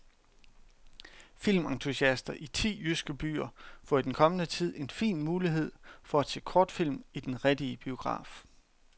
Filmentusiaster i ti jyske byer får i den kommende tid en fin mulighed for at se kortfilm i den rigtige biograf.